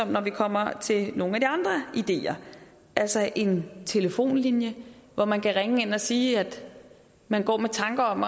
når vi kommer til nogle af de andre ideer altså en telefonlinje hvor man kan ringe ind og sige at man går med tanker om